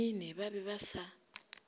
mene ba be ba sa